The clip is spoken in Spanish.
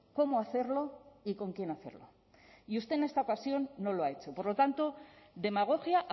cómo hacerlo y con quién hacerlo y usted en esta ocasión no lo ha hecho por lo tanto demagogia